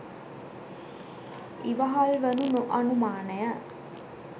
ඉවහල් වනු නො අනුමානය.